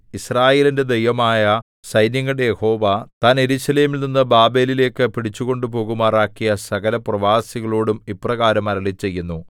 യിസ്രായേലിന്റെ ദൈവമായ സൈന്യങ്ങളുടെ യഹോവ താൻ യെരൂശലേമിൽ നിന്നു ബാബേലിലേക്കു പിടിച്ചുകൊണ്ടുപോകുമാറാക്കിയ സകലപ്രവാസികളോടും ഇപ്രകാരം അരുളിച്ചെയ്യുന്നു